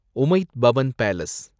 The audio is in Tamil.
உமைத் பவன் பேலஸ்